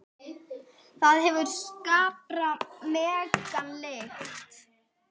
Það hefur skarpa, megna lykt.